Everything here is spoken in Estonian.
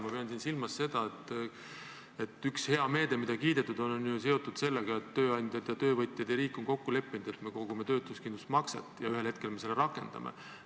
Ma pean silmas seda, et üks hea meede, mida kiidetud on, on ju seotud sellega, et tööandjad, töövõtjad ja riik on kokku leppinud, et me kogume töötuskindlustusmakset ja ühel hetkel me seda rakendame.